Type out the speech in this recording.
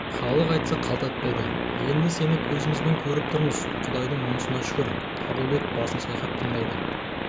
халық айтса қалт айтпайды енді сені көзімізбен көріп тұрмыз құдайдың мұнысына шүкір қабылбек басын шайқап таңдайын